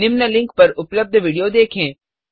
निम्न लिंक पर उपलब्ध विडियो देखें